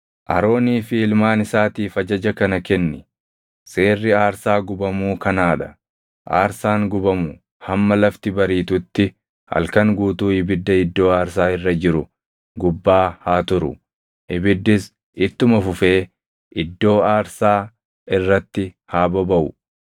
“Aroonii fi ilmaan isaatiif ajaja kana kenni: ‘Seerri aarsaa gubamuu kanaa dha; aarsaan gubamu hamma lafti bariitutti halkan guutuu ibidda iddoo aarsaa irra jiru gubbaa haa turu; ibiddis ittuma fufee iddoo aarsaa irratti haa bobaʼu.